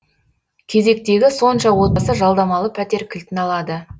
кезектегі сонша отбасы жалдамалы пәтер кілтін алады